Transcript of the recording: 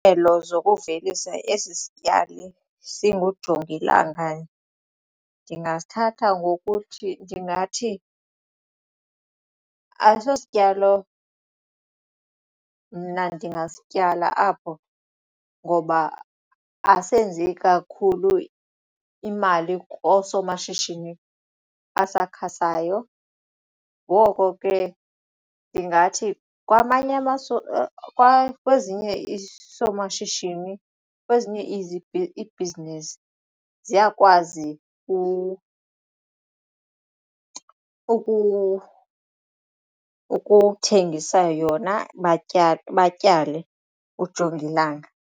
zokuvelisa esi sityali singujongilanga ndingasithatha ngokuthi ndingathi ayiso sityalo mna ndingasityala apho ngoba asenzi kakhulu imali koosomashishini asakhasayo ngoko ke ndingathi kwezinye isoomashishini kwezinye ibhizinisi ziyakwazi ukuthengisa yona batyale ujongilanga.